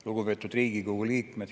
Lugupeetud Riigikogu liikmed!